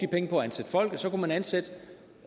penge på at ansætte folk så kunne ansætte